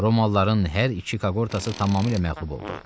Romalıların hər iki koqortası tamamilə məğlub oldu.